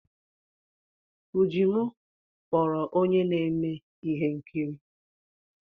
Ujimu kpọrọ onye na-eme ihe nkiri.